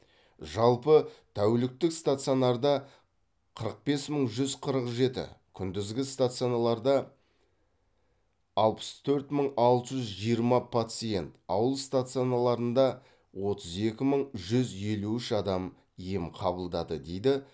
жалпы тәуліктік стационарда қырық бес мың жүз қырық жеті күндізгі стациналарда алпыс төрт мың алты жүз жиырма пациент ауыл стациналарында отыз екі мың жүз елу үш адам ем қабылдады дейді